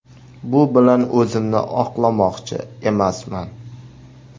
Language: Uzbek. Bu bilan o‘zimni oqlamoqchi emasman.